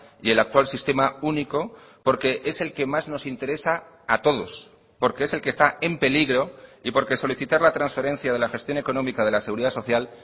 y el actual sistema único porque es el que más nos interesa a todos porque es el que está en peligro y porque solicitar la transferencia de la gestión económica de la seguridad social